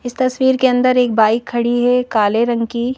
इस तस्वीर के अंदर एक बाइक खड़ी है काले रंग की।